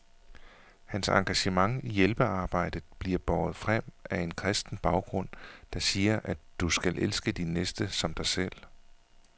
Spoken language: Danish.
Hans engagement i hjælpearbejdet bliver båret frem af en kristen baggrund, der siger, at du skal elske din næste som dig selv.